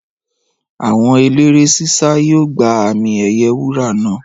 Àwọn eléré ṣíṣá yóò gba àmì ẹ̀yẹ wúrà náà